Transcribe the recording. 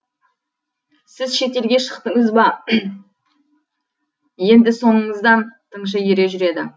сіз шетелге шықтыңыз ба енді соңыңыздан тыңшы ере жүреді